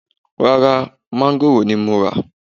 Ràrà, máńgòrò ni mo ra